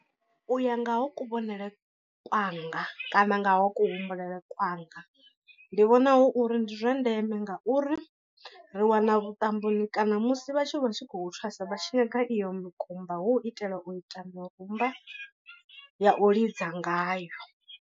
U ya nga ha kuvhonele kwanga kana nga ha kuhumbulele kwanga, ndi vhona hu uri ndi zwa ndeme ngauri ri wana vhuṱamboni kana musi vhathu vha tshi khou thwasa vha tshi nyaga iyo mukumba hu u itela u ita mirumba ya u lidza ngayo.